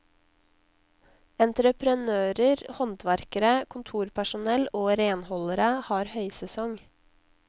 Entreprenører, håndverkere, kontorpersonell og renholdere har høysesong.